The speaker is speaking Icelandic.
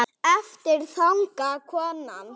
Aftur þagnaði konan.